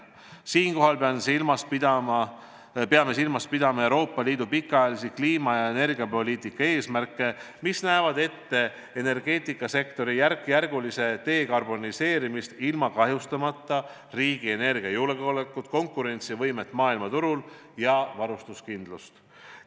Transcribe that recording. Siinkohal peame silmas pidama Euroopa Liidu pikaajalisi kliima- ja energiapoliitika eesmärke, mis näevad ette energiasektori järkjärgulist dekarboniseerimist kahjustamata riigi energiajulgeolekut, konkurentsivõimet maailmaturul ja varustuskindlust.